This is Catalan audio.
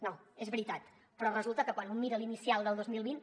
no és veritat però resulta que quan un mira l’inicial del dos mil vint